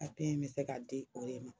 A papiye in bɛ se ka di o de ma